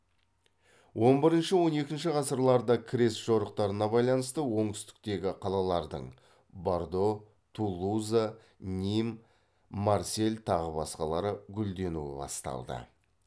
он бірінші он екінші ғасырларда крест жорықтарына байланысты оңтүстіктегі қалалардың бордо тулуза ним марсель тағы басқалары гүлденуі басталды